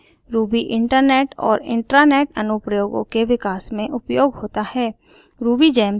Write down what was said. ruby internet और intranet अनुप्रयोगों के विकास में उपयोग होता है